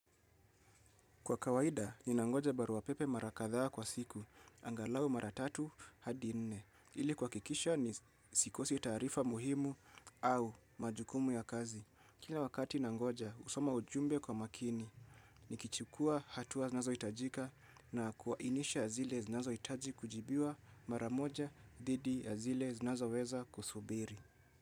Kwa kawaida, ninangoja barua pepe mara kadhaa kwa siku, angalau mara tatu hadi nne. Ili kuhakikisha sikosi taarifa muhimu au majukumu ya kazi. Kila wakati nangoja, kusoma ujumbe kwa makini. Nikichukua hatua zinazo hitajika na kuainisha zile zinazohitaji kujibiwa maramoja dhidi ya zile zinazoweza kusubiri.